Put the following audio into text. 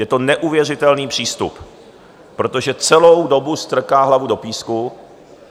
Je to neuvěřitelný přístup, protože celou dobu strká hlavu do písku.